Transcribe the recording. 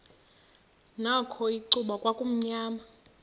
nakho icuba kwakumnyama